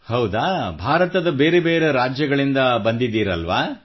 ಹೌದು ಭಾರತದ ಬೇರೆ ಬೇರೆ ರಾಜ್ಯಗಳಿಂದ ಬಂದಿದ್ದೀರಲ್ಲವೇ